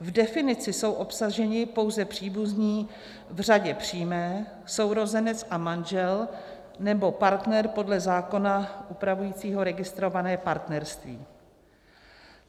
V definici jsou obsaženi pouze příbuzní v řadě přímé, sourozenec a manžel nebo partner podle zákona upravujícího registrované partnerství.